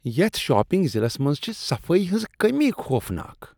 یتھ شاپنگ ضلعس منٛز چھ صفٲیی ہنٛز کٔمی چھےٚ خوفناک۔